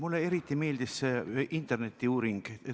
Mulle eriti meeldis see internetiuuring.